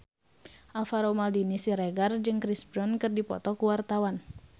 Alvaro Maldini Siregar jeung Chris Brown keur dipoto ku wartawan